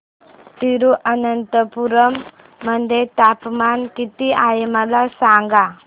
तिरूअनंतपुरम मध्ये तापमान किती आहे मला सांगा